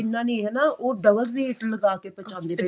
ਇੰਨਾ ਨੀ ਹਨਾ ਉਹ double rate ਲਗਾ ਕੇ ਪਚਾਂਦੇ ਪਏ